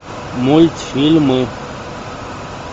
мультфильмы